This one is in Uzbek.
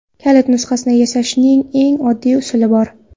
Kalit nusxasini yasashning eng oddiy usuli bor.